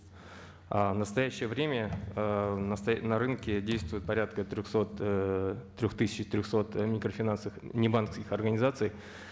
ы в настоящее время ыыы на рынке действуют порядка ыыы трех тысяч трехсот э микрофинансовых небанковских организаций